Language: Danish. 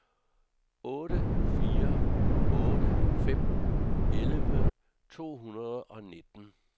otte fire otte fem elleve to hundrede og nitten